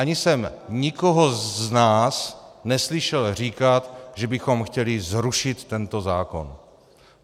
Ani jsem nikoho z nás neslyšel říkat, že bychom chtěli zrušit tento zákon.